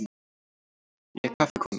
Ég er kaffikona.